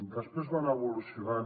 després va anar evolucionant